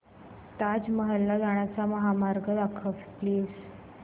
ताज महल ला जाण्याचा महामार्ग दाखव प्लीज